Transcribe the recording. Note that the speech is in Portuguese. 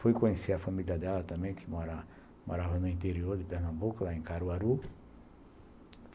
Fui conhecer a família dela também, que morava no interior de Pernambuco, lá em Caruaru.